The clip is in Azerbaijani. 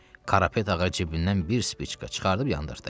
Qarapet ağa cibindən bir spiçka çıxardıb yandırdı.